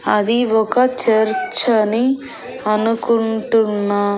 అది ఒక చర్చ్ అని అనుకుంటున్నా.